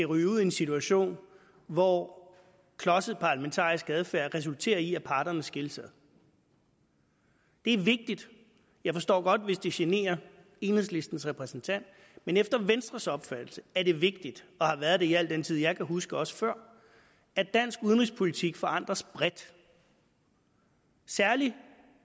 ryge ud i en situation hvor klodset parlamentarisk adfærd resulterer i at parterne skilles ad det er vigtigt jeg forstår godt hvis det generer enhedslistens repræsentant men efter venstres opfattelse er det vigtigt og har været det i al den tid jeg kan huske og også før at dansk udenrigspolitik forankres bredt særlig